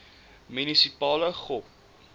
munisipale gop